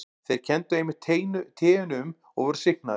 Þeir kenndu einmitt teinu um og voru sýknaðir.